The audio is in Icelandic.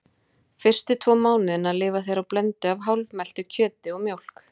Fyrstu tvo mánuðina lifa þeir á blöndu af hálfmeltu kjöti og mjólk.